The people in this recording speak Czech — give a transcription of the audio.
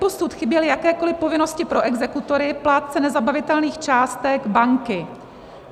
Doposud chyběly jakékoli povinnosti pro exekutory, plátce nezabavitelných částek, banky.